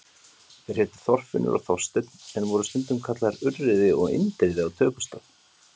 Þeir hétu Þorfinnur og Þorsteinn en voru stundum kallaðir Urriði og Indriði á tökustað.